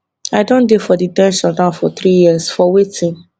i don dey for de ten tion now for three years for wetin